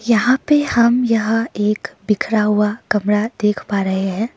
यहां पे हम यह एक बिखरा हुआ कमरा देख पा रहे हैं।